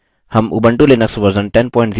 हम उंबटू Linux version 1004 और लिबरऑफिस सूट वर्जन 334